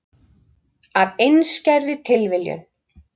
Af einskærri tilviljun.